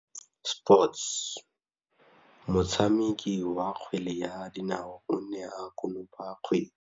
Motshameki wa kgwele ya dinaô o ne a konopa kgwele.